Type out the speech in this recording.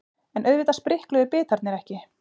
En auðvitað sprikluðu bitarnir ekki.